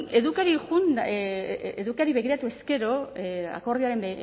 edukiari begiratuz gero akordioaren